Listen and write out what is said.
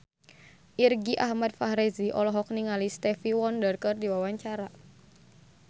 Irgi Ahmad Fahrezi olohok ningali Stevie Wonder keur diwawancara